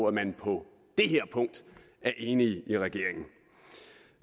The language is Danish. at man på det her punkt er enige i regeringen